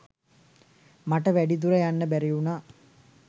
මට වැඩි දුර යන්න බැරි වුණා.